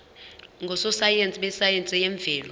ngososayense besayense yemvelo